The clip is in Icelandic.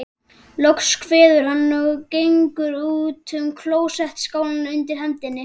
Loks kveður hann, og gengur út með klósettskálina undir hendinni.